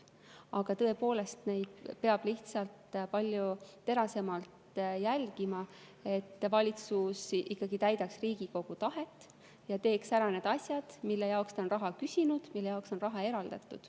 Aga tõepoolest, peab lihtsalt palju terasemalt jälgima, et valitsus täidaks Riigikogu tahet ja teeks ära need asjad, mille jaoks ta on raha küsinud ja mille jaoks on raha eraldatud.